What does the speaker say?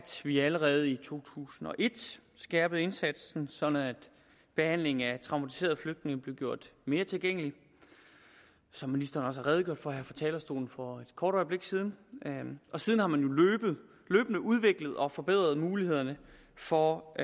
vi allerede i to tusind og et skærpede indsatsen sådan at behandlingen af traumatiserede flygtninge blev gjort mere tilgængelig som ministeren også har redegjort for her fra talerstolen for et kort øjeblik siden og siden har man jo løbende udviklet og forbedret mulighederne for